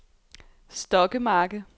Stokkemarke